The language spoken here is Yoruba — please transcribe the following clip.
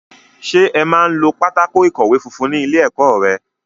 Ṣé ẹ máa ń lo pátákó ìkọ̀wé funfun ní ilé-ẹ̀kọ́ rẹ?